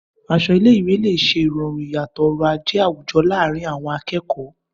Aṣọ ilé-ìwé lè ṣe ìrọ̀rùn ìyàtọ̀ ọrọ̀ ajé àwùjọ láàárín àwọn akẹ́kọ̀ọ́.